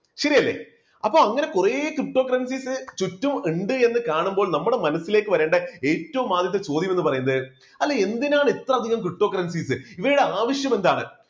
ശരിയല്ലേ അപ്പോ അങ്ങനെ കുറേ ptocurrencies ചുറ്റും ഉണ്ട് എന്ന് കാണുമ്പോൾ നമ്മുടെ മനസ്സിലേക്ക് വരേണ്ട ഏറ്റവും ആദ്യത്തെ ചോദ്യം എന്നു പറയുന്നത്, അല്ല എന്തിനാണ് ഇത്രയധികം ptocurrencies ഇവയുടെ ആവശ്യം എന്താണ്